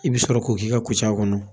I bɛ sɔrɔ k'o k'i ka kuca kɔnɔ